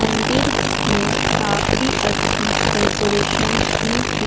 मंदिर में काफी अच्छी डेकोरेशन भी--